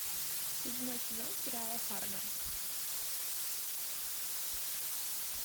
седьмой сезон сериала фарго